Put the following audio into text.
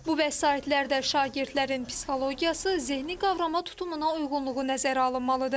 Bu vəsaitlərdə şagirdlərin psixologiyası, zehni qavrama tutumuna uyğunluğu nəzərə alınmalıdır.